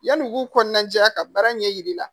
Yan'u k'u kɔnɔnaja ka baara ɲɛ yir'i la